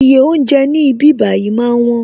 Iye oúnjẹ ní ibí bayi máa ń wón